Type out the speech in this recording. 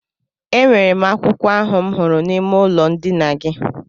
E nwere m akwụkwọ ahụ m hụrụ n'ime ụlọ ndina gị.